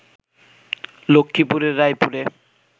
লক্ষ্মীপুরের রায়পুরে